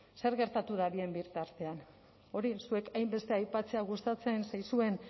zer gertatu da bien bitartean hori zuei hainbeste aipatzea gustatzen zaizuen